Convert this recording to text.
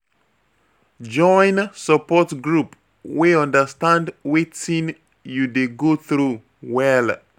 Join support group wey understand wetin you dey go through well.